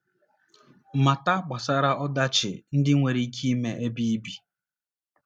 Mata gbasara ọdachi ndị nwere ike ime n’ebe ibi.